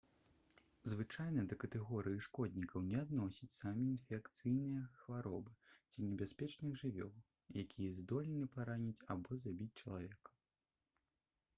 звычайна да катэгорыі шкоднікаў не адносяць самі інфекцыйныя хваробы ці небяспечных жывёл якія здольны параніць або забіць чалавека